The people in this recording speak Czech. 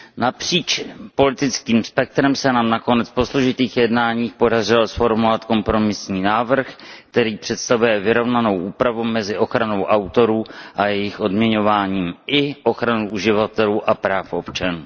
Napříč politickým spektrem se nám nakonec po složitých jednáních podařilo zformulovat kompromisní návrh, který představuje vyrovnanou úpravu mezi ochranou autorů a jejich odměňováním i ochranou uživatelů a práv občanů.